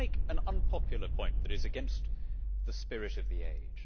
I want to make an unpopular point, which is against the spirit of the age.